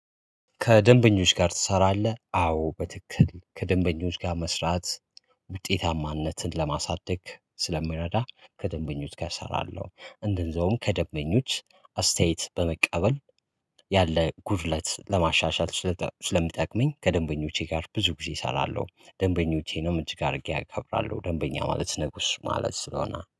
ከደንበኞች ጋር ትሰራለህ? አዎ በትክክል ከደንበኞች ጋር መስራት ውጤታማነትን ለማሳደግ ስለሚረዳ ከደንበኞች ጋር እሰራለሁ። እንደዛውም ከደንበኞች አስተያየት በመቀበል ያለ ጉድለት ለማሻሻል ስለሚጠቅመኝ ከደንበኞቼ ጋር ብዙ ጊዜ እሰራለሁ። ደንበኞቼ ነው እጅግ አድርጌ አከብራለሁ ደንበኛ ማለት ንጉስ ማለት ነው። እና